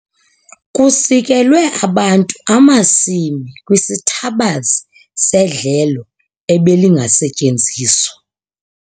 Kusikelwe abantu amasimi kwisithabazi sedlelo ebelingasetyenziswa.